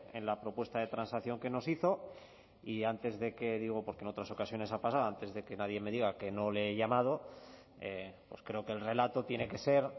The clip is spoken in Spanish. en la propuesta de transacción que nos hizo y antes de que digo porque en otras ocasiones ha pasado antes de que nadie me diga que no le he llamado creo que el relato tiene que ser